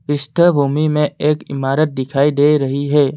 पृष्ठ भूमि में एक इमारत दिखाई दे रही है।